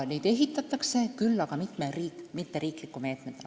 Neid ehitatakse, kuid mitte riikliku meetmena.